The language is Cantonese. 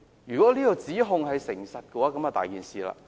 如果這個指控屬實，問題就大了。